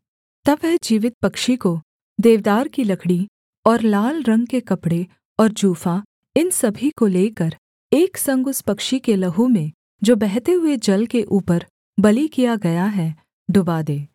तब वह जीवित पक्षी को देवदार की लकड़ी और लाल रंग के कपड़े और जूफा इन सभी को लेकर एक संग उस पक्षी के लहू में जो बहते हुए जल के ऊपर बलि किया गया है डुबा दे